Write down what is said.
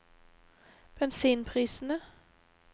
bensinprisene